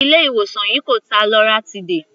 Ilé ìwòsàn yìí kò ta loratiday.